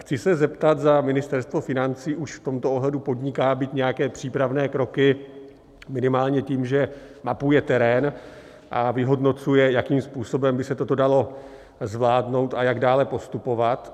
Chci se zeptat, zda Ministerstvo financí už v tomto ohledu podniká, byť nějaké přípravné kroky, minimálně tím, že mapuje terén a vyhodnocuje, jakým způsobem by se toto dalo zvládnout a jak dále postupovat.